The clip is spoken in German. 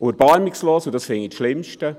Erbarmungslos, das finde ich das Schlimmste: